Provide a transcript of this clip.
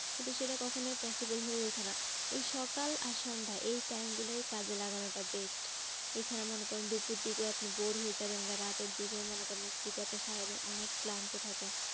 কিন্তু সেটা কখনোই possible হয়ে ওঠে না। ওই সকাল আর সন্ধ্যা এই time গুলোই কাজে লাগানোটা best এছাড়া মনে করেন দুপুর দিকেও আপনি bored হয়ে যাবেন রাতের দিকেও মনে করেন যদি আপনি সারাদিন অনেক ক্লান্ত থাকেন